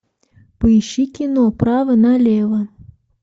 поищи кино право на лево